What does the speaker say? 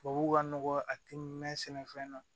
Tubabuw ka nɔgɔ a ti mɛn sɛnɛfɛn na